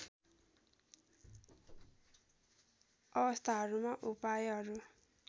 अवस्थाहरूमा उपायहरू